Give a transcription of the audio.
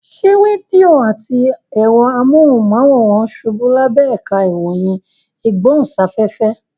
Ṣé rédíò àti ẹ̀rọ amóhùnmáwòrán ṣubú lábẹ́ ẹ̀ka ìròyìn ìgbóhùnsáfẹ́fẹ́?